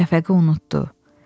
Şəfəqi unutdu.